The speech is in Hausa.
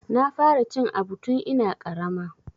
Na fara cin aɓu tun ina ƙarama.